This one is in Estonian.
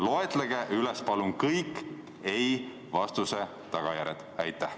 Loetlege palun kõik ei-vastuse tagajärjed!